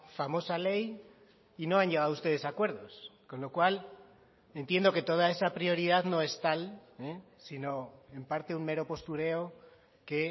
famosa ley y no han llegado ustedes a acuerdos con lo cual entiendo que toda esa prioridad no es tal sino en parte un mero postureo que